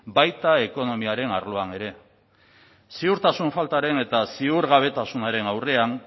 baita ekonomiaren arloan ere ziurtasun faltaren eta ziurgabetasunaren aurrean